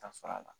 Ta sɔrɔ a la